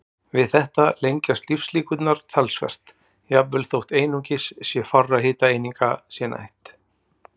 Við þetta lengjast lífslíkurnar talsvert, jafnvel þó einungis fárra hitaeininga sé neytt.